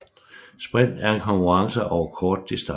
Sprint er en konkurrence over kort distance